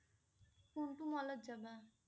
কোনটো mall ত যাবা?